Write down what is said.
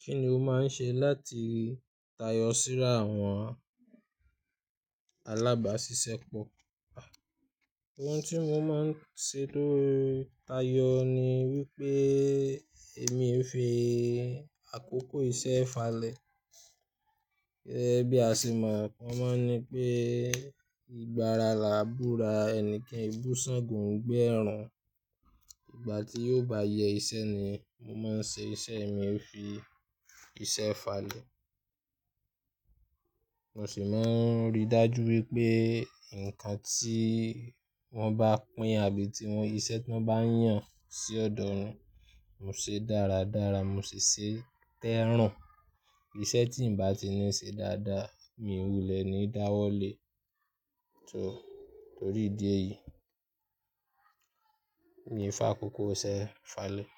Kí ni o máa ń ṣe láti tayọ síra àwọn alábáṣiṣẹ́po? Ohun tí mo máa ń ṣe tó tayọ ni wípé èmi ń fi àkókò iṣẹ́ falẹ̀. Gẹ́gẹ́ bí a ṣe mọ̀ won mọ́ ní pé ìgbà ara làá búra ẹni kan e bù sángo nigba ẹrun. Ìgbà tí ó bá yẹ iṣẹ́ ni mo máa ń ṣe iṣẹ́ mi ó fi iṣẹ́ falẹ̀. Mo sì máa ń ríi dájú wípé nǹkan tí wón bá pín àbí iṣẹ́ tí wón bá yàn sí ọ̀dọ̀ mi, mo ṣe dáradára, mo sì ṣe é tẹ́run. Iṣẹ́ tí ǹ bá ti ní ṣe dáadáa, mi wulẹ̀ ní dáwọ́lé torí ìdí èyí, mi ò fàkókò iṣẹ́ falẹ̀,